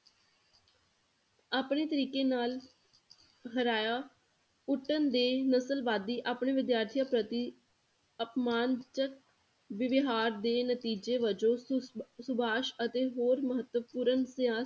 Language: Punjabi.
ਆਪਣੇ ਤਰੀਕੇ ਨਾਲ ਹਰਾਇਆ ਕੁੱਟਣ ਦੇ ਨਸਲਵਾਦੀ ਆਪਣੇ ਵਿਦਿਆਰਥੀਆਂ ਪ੍ਰਤੀ ਅਪਮਾਨਜ~ ਵਿਵਹਾਰ ਦੇ ਨਤੀਜੇ ਵੱਜੋਂ ਸੁਭ~ ਸੁਭਾਸ਼ ਅਤੇ ਹੋਰ ਮਹਤਵਪੂਰਨ